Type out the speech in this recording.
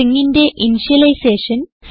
stringന്റെ ഇന്ത്യലൈസേഷൻ